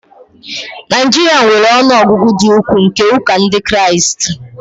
Nigeria nwere ọnụ ọgụgụ dị ukwuu nke ụka Ndị Kraịst